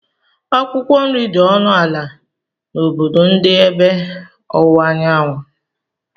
Akwụkwọ nri dị ọnụ ala n'obodo ndị ebe ọwụwa anyanwụ.